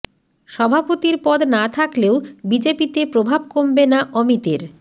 সভাপতির পদ না থাকলেও বিজেপিতে প্রভাব কমবে না অমিতের